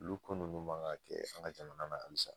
Olu ko nunnu man kan kɛ an ga jamana na hali sisan